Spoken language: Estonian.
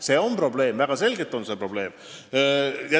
See on probleem – väga selgelt on see probleem!